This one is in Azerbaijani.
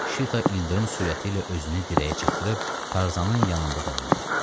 Şita ildırım sürəti ilə özünü dirəyə çatdırıb Tarzanın yanında dayandı.